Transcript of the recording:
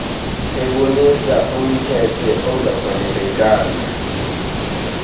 ebonisa umkhethe ongafanelekanga